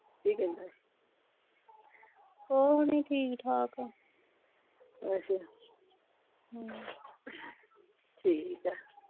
ਕੀ ਕਹਿੰਦਾ ਸੀ ਕੁਝ ਨਹੀਂ ਠੀਕ ਠਾਕ ਅੱਛਾ ਹਮ ਠੀਕ ਆ